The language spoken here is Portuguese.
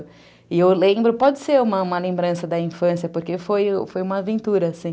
E eu lembro, pode ser uma uma lembrança da infância, porque foi uma aventura, assim.